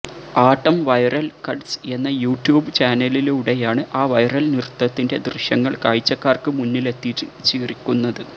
ആട്ടം viral cuts എന്ന YouTube ചാനലിലൂടെയാണ് ആ വൈറൽ നൃത്തത്തിന്റെ ദൃശ്യങ്ങൾ കാഴ്ചക്കാർക്കു മുന്നിലെത്തിച്ചിരിക്കുന്നത്